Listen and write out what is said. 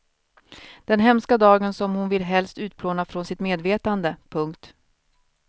Den hemska dagen som hon vill helst utplåna från sitt medvetande. punkt